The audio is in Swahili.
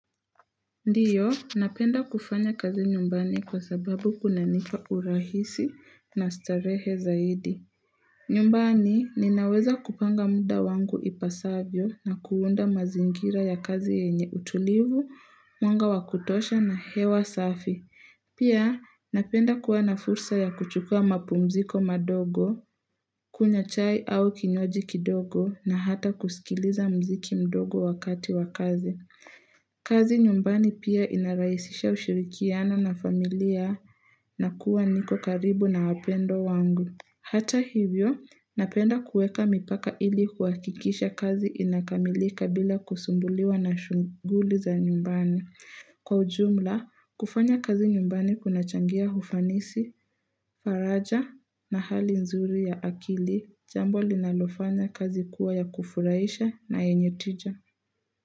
Ndio, napenda kufanya kazi nyumbani kwa sababu kunanipa urahisi na starehe zaidi. Nyumbani, ninaweza kupanga muda wangu ipasavyo na kuunda mazingira ya kazi yenye utulivu, mwanga wa kutosha na hewa safi. Pia, napenda kuwa na fursa ya kuchukua mapumziko madogo, kunywa chai au kinywaji kidogo na ata kusikiliza mziki mdogo wakati wa kazi. Kazi nyumbani pia inaraisisha ushirikiano na familia na kuwa niko karibu na wapendwa wangu. Hata hivyo, napenda kuweka mipaka ili kuhakikisha kazi inakamilika bila kusumbuliwa na shughuli za nyumbani. Kwa ujumla, kufanya kazi nyumbani kunachangia ufanisi, faraja na hali nzuri ya akili, jambo linalofanya kazi kuwa ya kufurahisha na yenye tija.